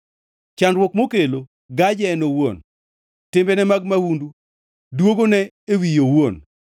Chandruok mokelo gaje en owuon; timbene mag mahundu dwogone e wiye owuon.